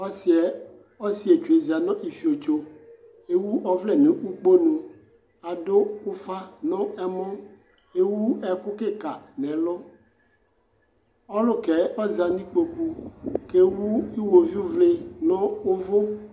Ɔsɩɛ ɔsɩetsu za n'ifiotso , k'ewu ɔvlɛ n'ukponu ; adʋ ʋfa nʋ ɛmɔ , k'ewu ɛkʋ kɩka nʋ ɛlʋ Ɔlʋkɛɛ ɔza n'ikpoku , k'ewu iɣoviuvlɩ nʋ ʋvʋ